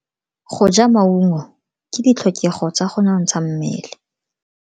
Go ja maungo ke ditlhokego tsa go nontsha mmele.